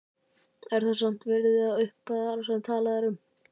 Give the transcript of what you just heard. Er hann samt virði þessar upphæðar sem talað er um?